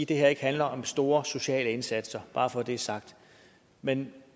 det her ikke handler om store sociale indsatser bare for at det er sagt men